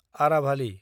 आराभालि